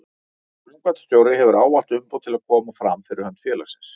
Framkvæmdastjóri hefur ávallt umboð til að koma fram fyrir hönd félagsins.